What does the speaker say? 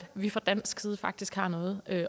vi fra dansk side faktisk har noget at